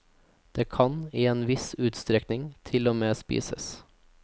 Det kan, i en viss utstrekning, til og med spises.